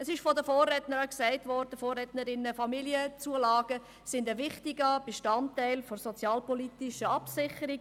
Es wurde von Vorrednern gesagt, Familienzulagen seien ein wichtiger Bestandteil der sozialpolitischen Absicherung.